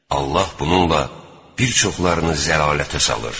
Allah bununla bir çoxlarını zəlalətə salır.